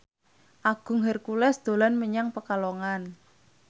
Agung Hercules dolan menyang Pekalongan